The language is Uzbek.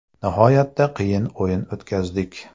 Nihoyatda qiyin o‘yin o‘tkazdik.